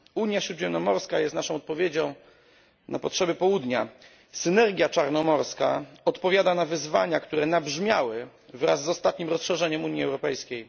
Unia Śródziemnomorska jest naszą odpowiedzią na potrzeby południa, a synergia czarnomorska odpowiada na wyzwania, które nabrzmiały wraz z ostatnim rozszerzeniem Unii Europejskiej.